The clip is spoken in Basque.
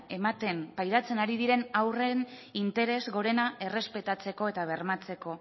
ematen pairatzen ari diren haurren interes gorena errespetatzeko eta bermatzeko